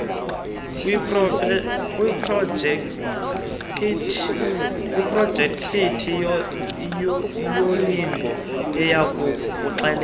kwiprojekithi yolingo ziyakukuxelela